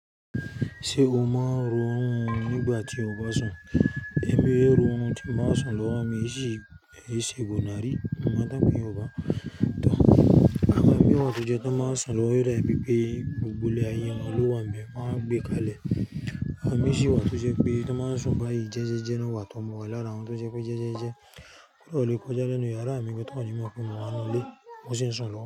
Ṣé o mọ n ro ọ̀rún nígbà tí o bá sùn? Ẹ̀mí ẹ rọ̀ ọ̀hún tí mo máa sùn lọ́wọ́ mi ṣì ìṣègùn nàárí. Mo òun tó ń pè yorùbá tò, àwọn imi wà tó jẹ́ tó báa sùn lọ́wọ́, yóò dàbí pé gbogbo ilẹ̀ àye wọ̀n ló wà nbẹ, wọn a wá gbé kalẹ̀. Àwọn mi ṣì wà tó ṣe pé tó bá nsùn bá jẹ́jẹ́jẹ́ náà wà tó mò lára wọn tó jẹ́ pé jẹ́jẹ́jẹ́. Kódà ó lè kọjá nínú ìyàrá mi gan toní mọ̀ pé mo wanu ilé. Mo sì ń sùn lọ́wọ́.